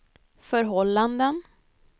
förhållanden